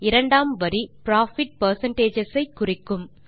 இரண்டாம் வரி profit percentages ஐ குறிக்கும்